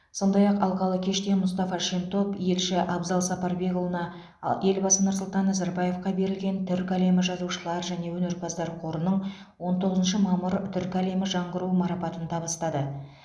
сондай ақ алқалы кеште мұстафа шентоп елші абзал сапарбекұлына елбасы нұрсұлтан назарбаевқа берілген түркі әлемі жазушылар және өнерпаздар қорының он тоғызыншы мамыр түркі әлемі жаңғыруы марапатын табыстады